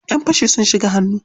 Ƴan fashi sun shigo hannu.